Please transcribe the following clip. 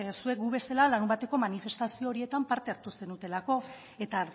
zuek gu bezala larunbateko manifestazio horietan parte hartu zenutelako eta